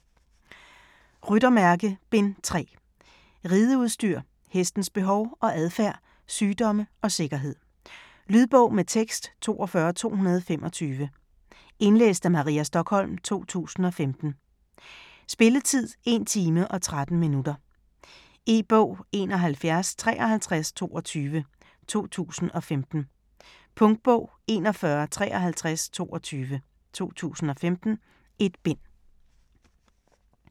Ryttermærke: Bind 3 Rideudstyr, hestens behov og adfærd, sygdomme og sikkerhed. Lydbog med tekst 42225 Indlæst af Maria Stokholm, 2015. Spilletid: 1 time, 13 minutter. E-bog 715322 2015. Punktbog 415322 2015. 1 bind.